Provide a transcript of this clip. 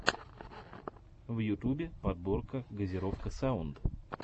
в ютубе подборка газировка саунд